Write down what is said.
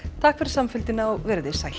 takk fyrir samfylgdina og veriði sæl